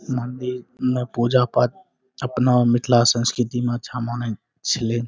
मंदिर में पूजा पाठ अपना मिथला संस्कृति मे अच्छा माने छले ।